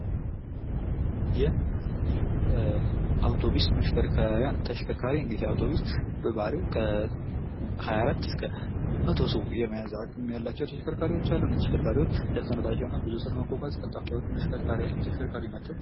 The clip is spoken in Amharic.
የአውቶብስ መሽከርከሪያ ተሽከርካሪ እንግዲህ በባሂሪው ከ24 እስክ 100 ሰው የመያዝ አቅም ያላቸው ተሽከርካሪዎቻ አሉ። ብዙ ሰው ለመያዝ ቀልተፍ ያሉ ተሽከርካሪ ናችው።